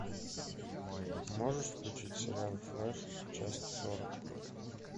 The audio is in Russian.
можешь включить сериал флэш часть сорок